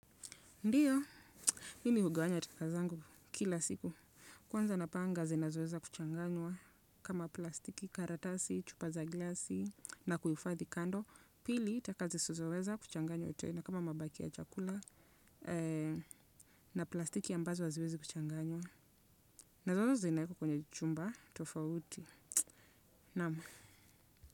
Ndiyo, mimi hugawanya taka zangu kila siku, kwanza napanga zinazoweza kuchanganywa, kama plastiki, karatasi, chupa za glasi, na kuifadhi kando, pili taka zisizoweza kuchanganywa tena, kama mabaki ya chakula, na plastiki ambazo haziwezi kuchanganywa, nazote zinaekwa kwenye chumba, tofauti, naam.